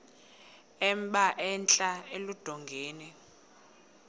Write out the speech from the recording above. emba entla eludongeni